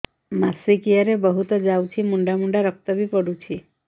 ମାସିକିଆ ରେ ବହୁତ ଯାଉଛି ମୁଣ୍ଡା ମୁଣ୍ଡା ରକ୍ତ ବି ପଡୁଛି